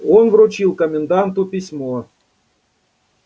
он вручил коменданту письмо